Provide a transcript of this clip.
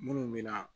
Minnu mina